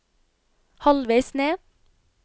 halvveis ned